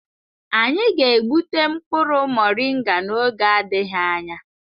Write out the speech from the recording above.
Anyị ga-egbute mkpụrụ moringa n'oge adịghị anya.